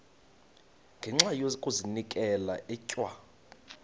ngenxa yokazinikela etywa